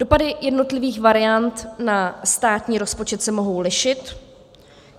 Dopady jednotlivých variant na státní rozpočet se mohou lišit.